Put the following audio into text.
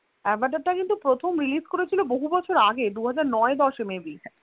আভাটারটা কিন্তু প্রথম release করেছিল, বহু বছর আগে দু হাজার নয় দশে maybe